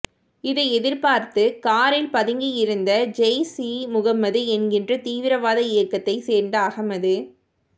இதை எதிர்பார்த்து காரில் பதுங்கியிருந்த ஜெய்ஷ் இ முகமது என்கிற தீவிரவாத இயக்கத்தைச் சேர்ந்த அகமது